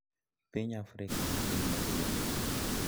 Piny Afrika en piny maduong`.